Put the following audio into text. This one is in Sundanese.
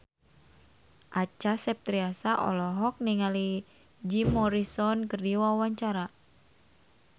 Acha Septriasa olohok ningali Jim Morrison keur diwawancara